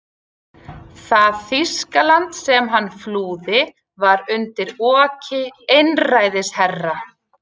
Það Þýskaland sem hann flúði var undir oki einræðisherra.